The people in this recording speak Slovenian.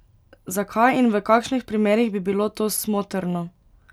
Zakaj in v kakšnih primerih bi bilo to smotrno?